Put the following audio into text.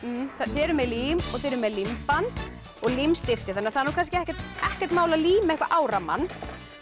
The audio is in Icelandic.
þið eruð með lím og límband og það er kannski ekkert ekkert mál að líma eitthvað á rammann